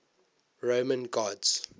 roman gods